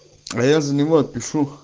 а я за него отпишу